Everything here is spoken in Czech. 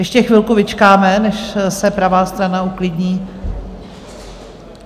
Ještě chvilku vyčkáme, než se pravá strana uklidní.